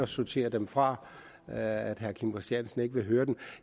sorterer dem fra og gør at herre kim christiansen ikke hører dem